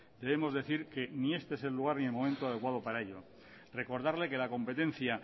debemos decir que ni este es el lugar ni el momento adecuado para ello recordarle que la competencia